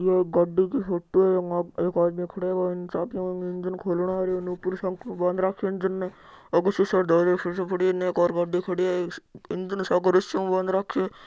वो गाड़ी की फोटो है एक आदमी खड़ा है चाबियां हु इंजिन खोलण लाग रो हैइन ऊपर हु सांकल हु बांध राखो है इंजिन ने आगे सिसो पड़ो है इन एक और गाड़ी खड़ी है इंजिन सागे रसिया हु बांध रखो है।